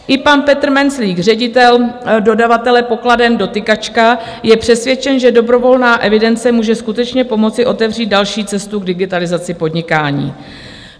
I pan Petr Menclík, ředitel dodavatele pokladen Dotykačka, je přesvědčen, že dobrovolná evidence může skutečně pomoci otevřít další cestu k digitalizaci podnikání.